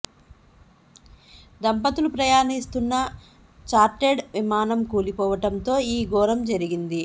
దంపతులు ప్రయాణిస్తున్న చార్టెడ్ విమానం కూలిపోవడం తో ఈ ఘోరం జరిగింది